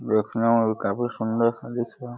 देखने में भी काफी सुंदर-सा दिख रहा है।